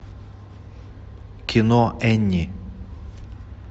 кино энни